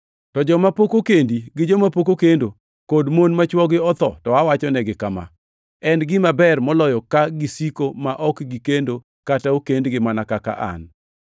To joma pok okendi gi joma pok okendo, kod mon ma chwogi otho, to awachonegi kama: En gima ber moloyo ka gisiko ma ok gikendo kata okendgi, mana kaka an.